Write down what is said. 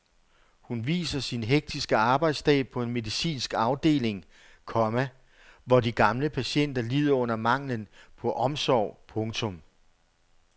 Hun viser sin hektiske arbejdsdag på en medicinsk afdeling, komma hvor de gamle patienter lider under manglen på omsorg. punktum